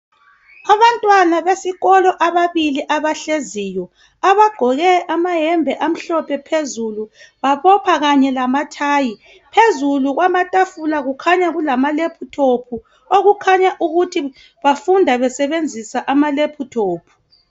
abantwana besikolo ababili abahleziyo abagqoke amaqyembe amhlophe phezulu babopha kanye lamathayi phezulu kwatafula kukhanya kulama laptop okukhanya ukuthi bafunda besebenzisa ama laptop